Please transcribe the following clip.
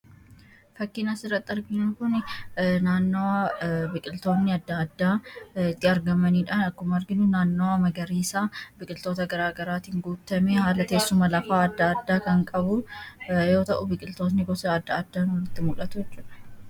Fakkiin asirratti arginu Kun, naannoo biqiltoonni addaa addaa itti argamanidha. akkuma arginu naannoo magariisaa biqiltoota garaagaraatiin guutamee haala teessuma lafaa addaa addaa kan qabu yoo ta'u, biqiltoota gosa addaa addaa nutti mul'atu jechuudha.